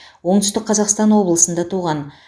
оңтүстік қазақстан облысында туған